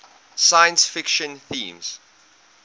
science fiction themes